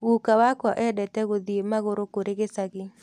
Gũka wakwa endete gũthiĩ magũrũ kũrĩ gĩcagi.